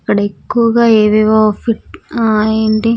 అక్కడ ఎక్కువగా ఏవేవో ఫిట్ ఆహ్ ఏంటి--